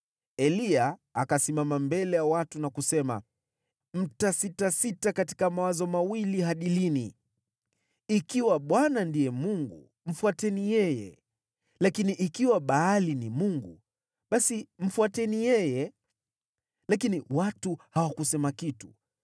Eliya akasimama mbele ya watu na kusema, “Mtasitasita katika mawazo mawili hadi lini? Ikiwa Bwana ndiye Mungu, mfuateni yeye; lakini ikiwa Baali ni Mungu, basi mfuateni yeye.” Lakini watu hawakusema kitu.